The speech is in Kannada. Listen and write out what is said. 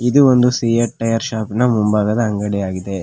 ಇದು ಒಂದು ಸಿಯಟ್ ಟೈಯರ್ ಶಾಪ್ ನ ಮುಂಭಾಗದ ಅಂಗಡಿಯಾಗಿದೆ.